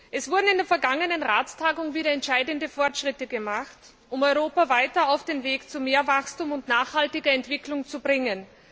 Es wurden in der vergangenen Ratstagung wieder entscheidende Fortschritte gemacht, um Europa weiter auf den Weg zu mehr Wachstum und nachhaltiger Entwicklung zu bringen.